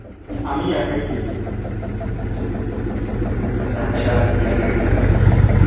আমি একাই খেয়েছিলাম একাই ছাড়া একাই ছাড়া আর কে খাবে